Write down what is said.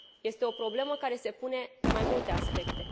Este o problemă care se pune pe mai multe aspecte.